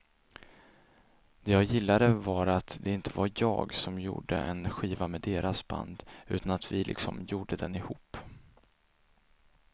Det jag gillade var att det inte var jag som gjorde en skiva med deras band utan att vi liksom gjorde den ihop.